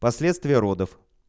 последствия родов